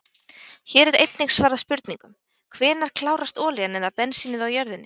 Hér er einnig svarað spurningum: Hvenær klárast olían eða bensínið á jörðinni?